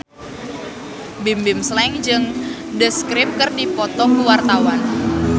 Bimbim Slank jeung The Script keur dipoto ku wartawan